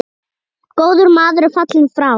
Góður maður er fallinn frá.